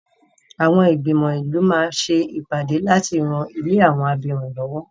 Àwọn ìgbìmò ìlú máa ṣe ìpàdé láti rán ilé àwọn abirùn lọ́wọ́.